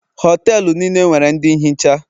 Họtelu niile nwere ndị nhicha